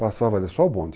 Passava ali, só o bonde.